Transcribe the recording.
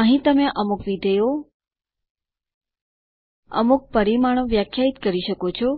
અહીં તમે અમુક વિધેયો અમુક પરિમાણો વ્યાખ્યાયિત કરી શકો છો